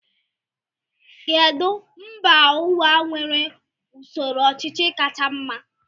Kedụ mba ụwa nwere usoro ọchịchị kacha mma?